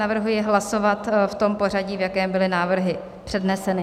Navrhuji hlasovat v tom pořadí, v jakém byly návrhy předneseny.